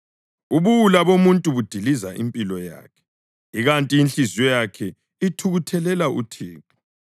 Ubuwula bomuntu budiliza impilo yakhe, ikanti inhliziyo yakhe ithukuthelela uThixo.